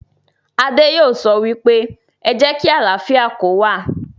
Adé yóò sọ wípé, 'Ẹ jẹ́ kí àlàáfíà kó wà'